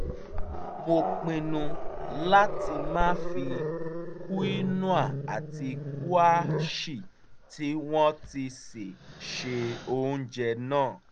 mo pinnu láti máa fi kúínóà àti kúàṣì tí wọ́n ti sè ṣe oúnjẹ náà